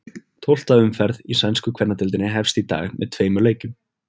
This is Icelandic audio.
Tólfta umferð í sænsku kvennadeildinni hefst í dag með tveimur leikjum.